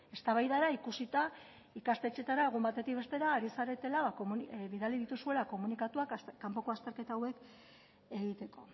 eztabaidara ikusita ikastetxeetara egun batetik bestera ari zaretela bidali dituzuela komunikatuak kanpoko azterketa hauek egiteko